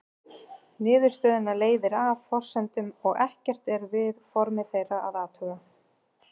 Niðurstöðuna leiðir af forsendunum og ekkert er við form þeirra að athuga.